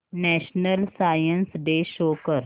national science day show कर